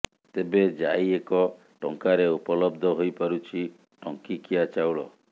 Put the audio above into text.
ତେବେ ଯାଇ ଏକ ଟଙ୍କାରେ ଉପଲବ୍ଧ ହୋଇପାରୁଛି ଟଙ୍କିକିଆ ଚାଉଳ